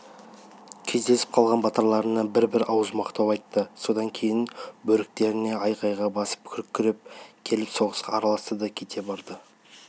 кездесіп қалған батырларына бір-бір ауыз мақтау айтты содан кейін бөріктіре айғайға басып күркіреп келіп соғысқа араласты да кете барды